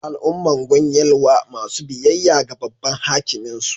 Al'ummar Gwan Yelwa masu biyayya ga Babban Hakimin su